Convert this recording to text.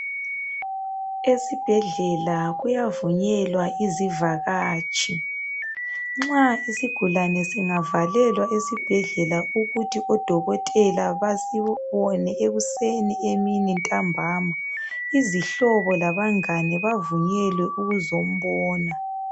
Esibhedlela kuyavunyelwa izivakatshi. Nxa isigulane singavalelwa esibhedlela ukuthi odokotela basibone ekuseni emini, ntambama, izihlobo labangane bavunyelwe ukuzombona.